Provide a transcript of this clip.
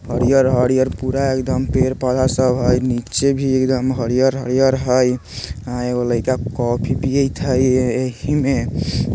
हरियर-हरियर पूरा एकदम पेड़-पौधा सब हई नीचे भी एकदम हरियर-हरियर हई आ एगो लइका कॉफ़ी पियैत हई ए-एही में।